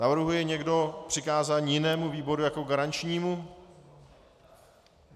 Navrhuje někdo přikázání jinému výboru jako garančnímu?